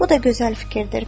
Bu da gözəl fikirdir.